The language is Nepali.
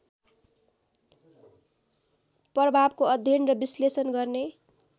प्रभावको अध्ययन र विश्लेषण गर्ने